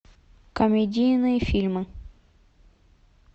комедийные фильмы